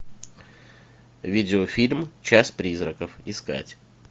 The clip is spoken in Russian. видеофильм час призраков искать